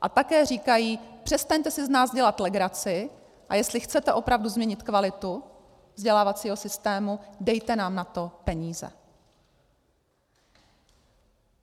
A také říkají, přestaňte si z nás dělat legraci, a jestli chcete opravdu změnit kvalitu vzdělávacího systému, dejte nám na to peníze.